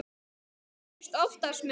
Það gerist oftast með mig.